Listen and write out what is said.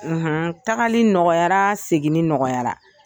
tagali nɔgɔyayara seginni nɔgɔyara.